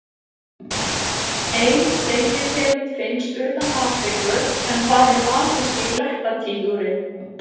ein deilitegund finnst utan afríku en það er asíski blettatígurinn